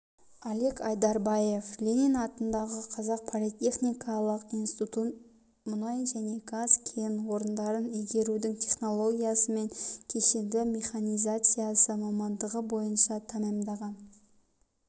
алик айдарбаев ленин атындағы қазақ политехникалық институтын мұнай және газ кен орындарын игерудің технологиясы мен кешенді механизациясы мамандығы бойынша тәмамдаған